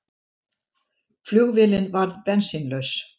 Flugvélin varð bensínlaus